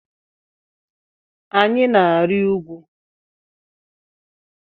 Anyị na-arị ugwu.